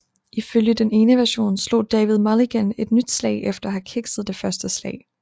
Ifølge den ene version slog David Mulligan et nyt slag efter at have kikset det første slag